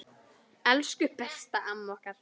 Elsku besta, amma okkar.